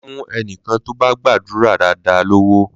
Mà á fún ẹnikẹ́ni tó bá gbàdúrà dáadáa lówó!